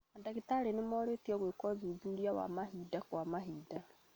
Mandagĩtarĩ nĩmorĩtio gwĩka ũthuthuria wa mahinda kwa mahinda